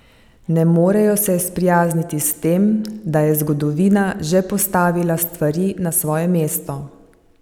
Ne morejo se sprijazniti s tem, da je zgodovina že postavila stvari na svoje mesto.